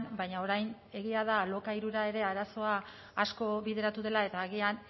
baina orain egia da alokairura ere arazoa asko bideratu dela eta agian